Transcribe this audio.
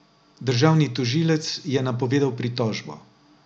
Državni tožilec je napovedal pritožbo.